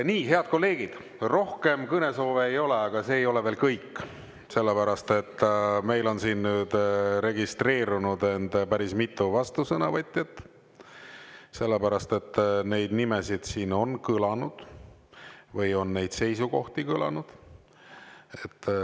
Nii, head kolleegid, rohkem kõnesoove ei ole, aga see ei ole veel kõik, sellepärast et meil on siin nüüd registreerunud end päris mitu vastusõnavõtjat, sellepärast et neid nimesid siin on kõlanud või on neid seisukohti kõlanud.